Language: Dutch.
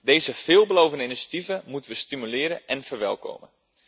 Deze veelbelovende initiatieven moeten we stimuleren en verwelkomen.